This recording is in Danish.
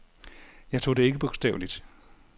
Jeg tog det ikke bogstaveligt.